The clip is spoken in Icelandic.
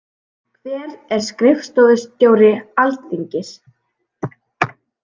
Hver er skrifstofustjóri Alþingis?